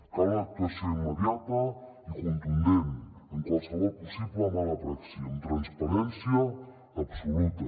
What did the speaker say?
cal una actuació immediata i contundent en qualsevol possible mala praxi amb transparència absoluta